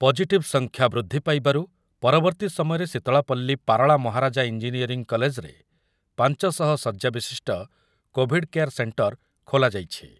Positive ସଂଖ୍ୟା ବୃଦ୍ଧି ପାଇବାରୁ ପରବର୍ତ୍ତି ସମୟରେ ଶିତଳାପଲ୍ଲୀ ପାରଳା ମହାରାଜା ଇଞ୍ଜିନିୟରିଂ କଲେଜରେ ପାଞ୍ଚଶହ ଶଯ୍ୟା ବିଶିଷ୍ଟ କୋଭିଡ଼୍ କେୟାର ସେଣ୍ଟର ଖୋଲାଯାଇଛି ।